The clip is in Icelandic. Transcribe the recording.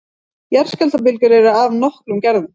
Jarðskjálftabylgjur eru af nokkrum gerðum.